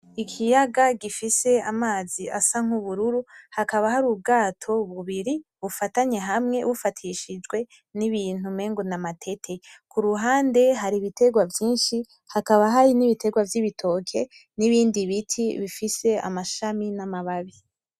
Ikiyaga gifise amazi asa nk'ubururu hakaba hari ubwato bubiri bufatanye hamwe bufatishijwe n'ibintu umengo namatete, kuruhande hari ibiterwa vyinshi , hakaba hari n'ibiterwa vy'ibitoke n'ibindi biti bifise amashami n'amababi .